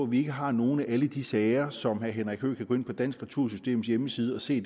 vi ikke har nogle af alle de sager som herre henrik høegh kan gå ind på dansk retursystems hjemmeside og se